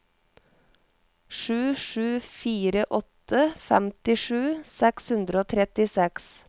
sju sju fire åtte femtisju seks hundre og trettiseks